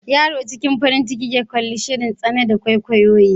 Yaron cikin farin ciki ya kalli shirin tsana na kwaikwayo.